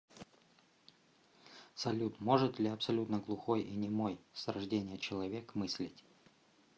салют может ли абсолютно глухой и немой с рождения человек мыслить